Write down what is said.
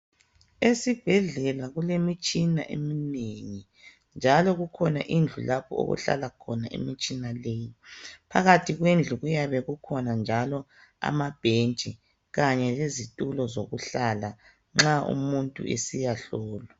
Esibhedlela kulemitshina eminengi. Njalo kukhona indlu lapho okuhlala khona imitshina le. Phakathi kwendlu kuyabe kukhona njalo amabhentshi kanye lezitulo zokuhlala nxa umuntu esiyahlolwa.